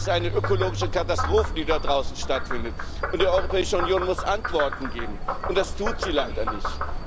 Das ist eine ökologische Katastrophe, die da draußen stattfindet. Die Europäische Union muss Antworten geben und das tut sie leider nicht.